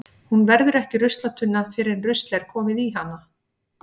Hún verður ekki ruslatunna fyrr en rusl er komið í hana.